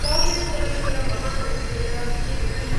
कांग्रेस्दलस्य महासचिवेन के.सी.